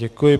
Děkuji.